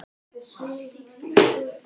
En þú ert greinilega með á nótunum.